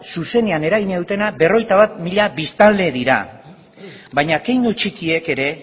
zuzenean eragina dutena berrogeita bat mila biztanle dira baina keinu txikiek ere